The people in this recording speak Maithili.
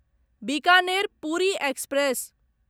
बिकानेर पूरी एक्सप्रेस